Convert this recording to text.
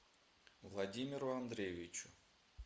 владимиру андреевичу